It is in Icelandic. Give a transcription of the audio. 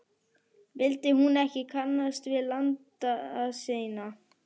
Vildi hún ekki kannast við landa sína?